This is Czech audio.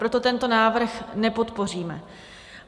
Proto tento návrh nepodpoříme.